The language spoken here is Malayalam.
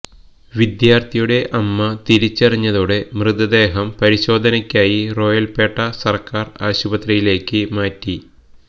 വിദ്യാർത്ഥിയുടെ അമ്മ തിരിച്ചറിഞ്ഞതോടെ മൃതദേഹം പരിശോധനയ്ക്കായി റോയപ്പേട്ട സർക്കാർ ആശുപത്രിയിലേക്ക് മാറ്റി